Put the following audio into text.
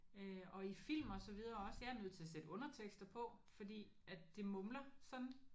Øh og i film og så videre også jeg er nødt til at sætte undertekster på fordi at de mumler sådan